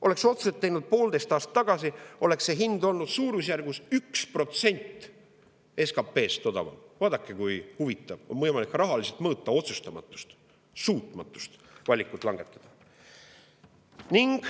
Oleks otsused tehtud poolteist aastat tagasi, oleks see hind olnud odavam, suurusjärgus 1% võrra SKP‑st. Vaadake, kui huvitav: on võimalik ka rahaliselt mõõta otsustamatust, suutmatust valikut langetada.